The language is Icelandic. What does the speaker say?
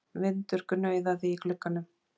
Vindur gnauðaði á glugganum.